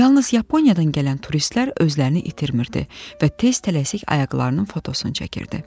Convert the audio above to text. Yalnız Yaponiyadan gələn turistlər özlərini itirmirdi və tez tələsik ayaqlarının fotosunu çəkirdi.